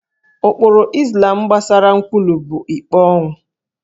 Ụkpụrụ Izlam gbasara nkwulu bụ ikpe ọnwụ